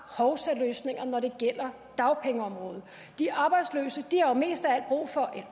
hovsaløsninger når det gælder dagpengeområdet de arbejdsløse